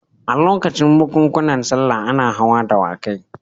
A lokutan bukunkuna sallah ana hawa dawakai.